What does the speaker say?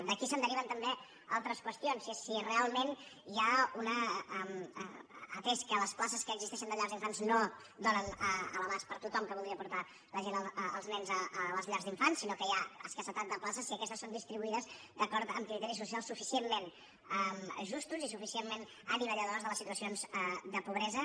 d’aquí se’n deriven també altres qüestions atès que les places que existeixen de llars d’infants no donen a l’abast per a tothom que voldria portar els nens a les llars d’infants sinó que hi ha escassetat de places si aquestes són distribuïdes d’acord amb criteris socials suficientment justos i suficientment anivelladors de les situacions de pobresa